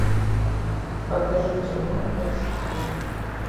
покажи кино экстрим